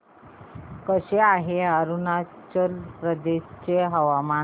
कसे आहे अरुणाचल प्रदेश चे हवामान